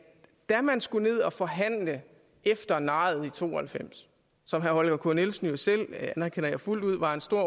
da man skulle ned og forhandle efter nejet i nitten to og halvfems som herre holger k nielsen jo selv det anerkender jeg fuldt ud var en stor